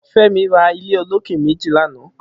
Femi rà ilé ólóké méji làná